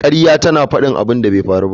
Ƙarya tana faɗin abin da bai faru ba